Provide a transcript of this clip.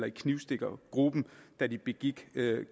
i knivstikkergruppen da de begik